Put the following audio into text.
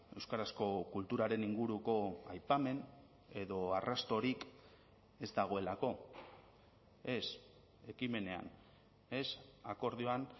euskarazko kulturaren inguruko aipamen edo arrastorik ez dagoelako ez ekimenean ez akordioan